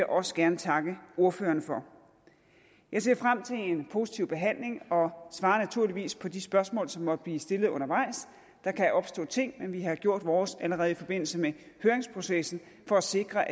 også gerne takke ordførerne for jeg ser frem til en positiv behandling og svarer naturligvis på de spørgsmål som måtte blive stillet undervejs der kan opstå ting men vi har gjort vores allerede i forbindelse med høringsprocessen for at sikre